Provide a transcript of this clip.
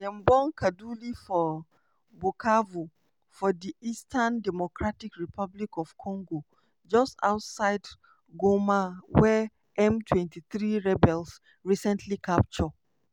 dem born kaduli for bukavu for di eastern democratic republic of congo just outside goma wey m23 rebels recently capture.